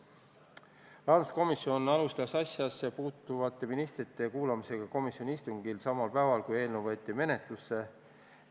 Rahanduskomisjon alustas asjasse puutuvate ministrite ärakuulamist komisjoni istungil samal päeval, kui eelnõu menetlusse võeti.